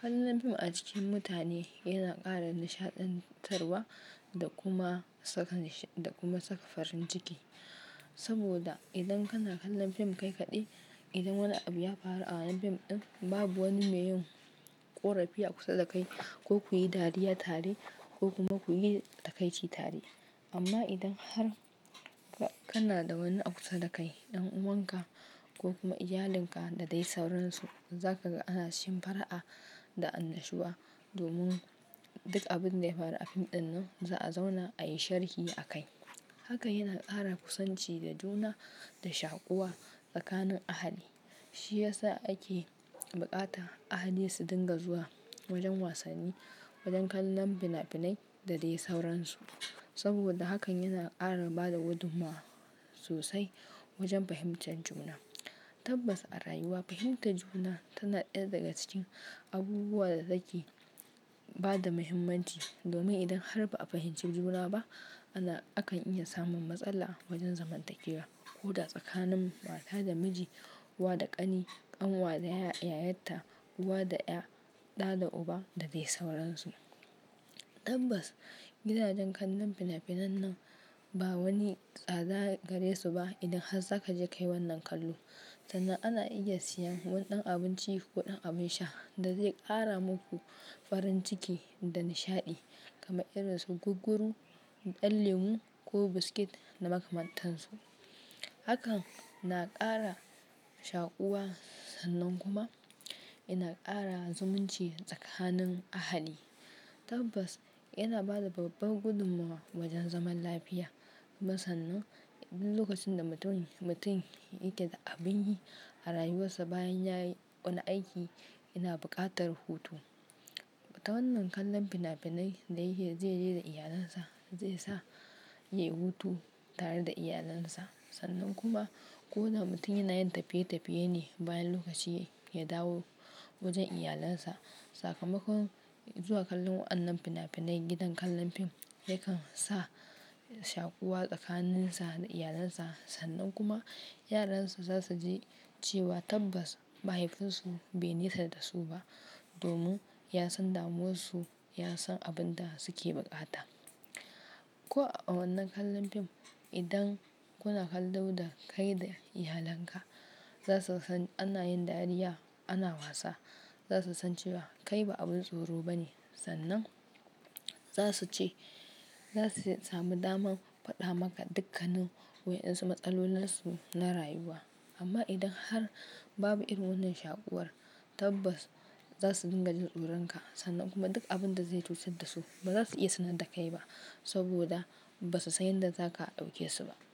Kallon fim a cikin mutane yana ƙara nishaɗantarwa da kuma saka da kuma saka farin ciki. Saboda idan kana kallon fim kai kaɗai, idan wani abu ya faru a wannan fim ɗin babu wani mai yin ƙorafi a kusa da kai ko ku yi dariya tare ko kuma ku yi takaici tare. Amma idan har kana da wani a kusa da kai ɗan'uwanka ko kuma iyalinka da dai sauransu, za ka ga ana shimfara'a da annashuwa domin duk abin da ya faru a fim ɗin nan za a zauna a yi sharhi akai. Haka yana ƙara kusanci da juna da shakuwa tsakanin ahali. Shi ya sa ake buƙatan ahali su dinga zuwa wajen wasanni, wajen kallon finafinai da dai sauransu. Saboda hakan yana ƙara bada gudummawa sosai wajen fahimtar juna. Tabbas a rayuwa fahimtar juna tana ɗaya daga cikin abubuwan da nake ba da muhimmanci. Domin idan har ba a fahimci juna ba ana akan iya samun matsala wajen zamantakewa ko da tsakanin mata da miji, uwa da ƙani, ƙanwa da yayatta, uwa da ƴa, ɗa da uba da dai sauransu. Tabbas gidajen kallon finafinan nan ba wani tsada gare su ba. Idan har za ka je kai wannan kallo sannan ana iya siyan wani ɗan abinci ko ɗan abin sha da zai ƙara muku farin ciki da nishaɗi kamar irin su gugguru, ɗan lemu ko biskit da makamantansu. Hakan na ƙara shakuwa sannan kuma yana ƙara zumunci tsakanin ahali. Tabbas yana bada babbar gudummawa wajen zaman lafiya. Sannan lokacin da mutum mutum yake da abin yi a rayuwarsa bayan ya yi wani aiki yana buƙatar hutu. Ta wannan kallon finafinai da yake zai je da iyalinsa zai sa ya yi hutu tare da iyalinsa. Sannan kuma ko da mutum yana tafiye tafiye ne bayan lokaci ya dawo wajen iyalansa. Sakamakon zuwa kallon wannan finafinai gidan kallon fim yakan sa shakuwa tsakaninsa da iyalinsa. Sannan kuma yaransa zasu ji cewa tabbas mahaifinsu bai nesa da su ba domin ya san damuwarsu, ya san abin da suke buƙata. Ko a wannan kallon fim idan kuna kallo da kai da iyalinka za su san ana yin dariya, ana wasa. Za su san cewa kai ba abin tsoro ba ne. Sannan za su ce za su samu damar faɗa maka dukkanin waɗansu matsalolansu na rayuwa. Amma idan har babu irin wannan shaƙuwar tabbas za su dinga jin tsoronka. Sannan kuma duk abin da zai cutar da su ba za su iya sanar da kai ba saboda ba su san yadda za ka ɗauke su ba.